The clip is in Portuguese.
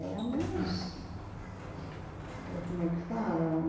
Era mais... Como é que fala?